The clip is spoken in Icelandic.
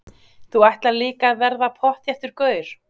Þú ætlar líka að verða pottþéttur gaur.